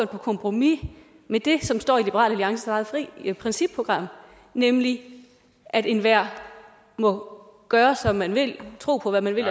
på kompromis med det som står i liberal alliances eget principprogram nemlig at enhver må gøre som man vil og tro på hvad man vil